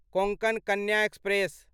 Konkan Kanya express